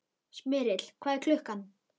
Smyrill, hvað er klukkan?